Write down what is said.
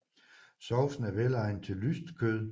Sovsen er velegnet til lyst kød